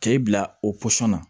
K'e bila o na